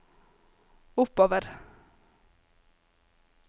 oppover